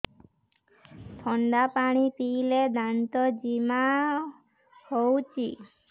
ଥଣ୍ଡା ପାଣି ପିଇଲେ ଦାନ୍ତ ଜିମା ହଉଚି